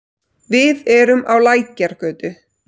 Við erum á Lækjargötu.